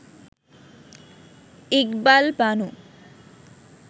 Iqbal Banu